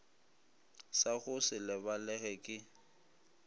sa go se lebalege ke